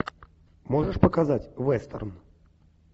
можешь показать вестерн